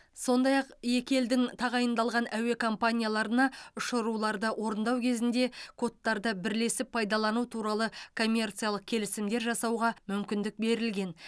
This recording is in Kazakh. сондай ақ екі елдің тағайындалған әуе компанияларына ұшыруларды орындау кезінде кодтарды бірлесіп пайдалану туралы коммерциялық келісімдер жасауға мүмкіндік берілген